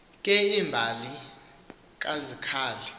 ke imbali kazikhali